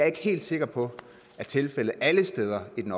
ikke helt sikker på er tilfældet alle steder i den